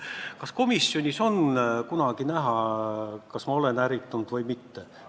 Kas komisjonis on kunagi näha, kas ma olen ärritunud või mitte?